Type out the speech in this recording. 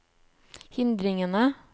hindringene